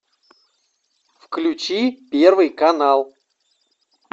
включи первый канал